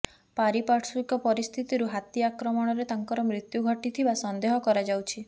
ପାରିପାର୍ଶ୍ବିକ ପରିସ୍ଥିତିରୁ ହାତୀ ଆକ୍ରମଣରେ ତାଙ୍କର ମୃତ୍ୟୁ ଘଟିଥିବା ସନ୍ଦେହ କରାଯାଉଛି